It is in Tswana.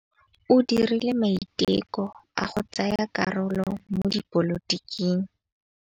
O dirile maitekô a go tsaya karolo mo dipolotiking.